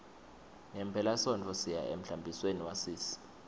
ngephelasontfo siya emhlambisweni wasisi